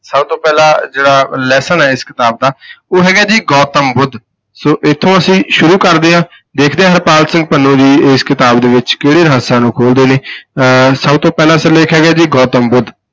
ਸਭ ਤੋਂ ਪਹਿਲਾ ਜਿਹੜਾ lesson ਹੈ ਇਸ ਕਿਤਾਬ ਦਾ ਉਹ ਹੈਗਾ ਜੀ ਗੌਤਮ ਬੁੱਧ, ਸੌ ਇੱਥੋਂ ਅਸੀਂ ਸ਼ੁਰੂ ਕਰਦੇ ਹਾਂ, ਦੇਖਦੇ ਹਾਂ ਹਰਪਾਲ ਸਿੰਘ ਪੰਨੂ ਜੀ ਇਸ ਕਿਤਾਬ ਦੇ ਵਿੱਚ ਕਿਹੜੇ ਰਹੱਸਾਂ ਨੂੰ ਖੋਲਦੇ ਨੇ ਅਹ ਸਭ ਤੋਂ ਪਹਿਲਾ ਸਿਰਲੇਖ ਹੈਗਾ ਜੀ ਗੌਤਮ ਬੁੱਧ।